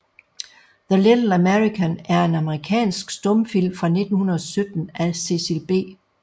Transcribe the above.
The Little American er en amerikansk stumfilm fra 1917 af Cecil B